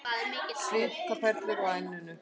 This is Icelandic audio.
Svitaperlur á enninu.